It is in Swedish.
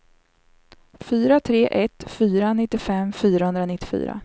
fyra tre ett fyra nittiofem fyrahundranittiofyra